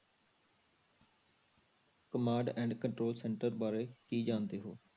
Command and control center ਬਾਰੇ ਕੀ ਜਾਣਦੇ ਹੋ?